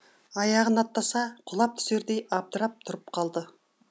аяғын аттаса құлап түсердей абдырап тұрып қалды